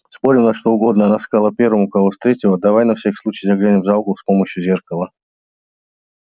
спорим на что угодно она сказала первому кого встретила давай на всякий случай заглянем за угол с помощью зеркала